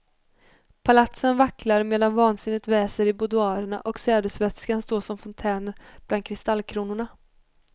Palatsen vacklar medan vansinnet väser i budoirerna och sädesvätskan står som fontäner bland kristallkronorna.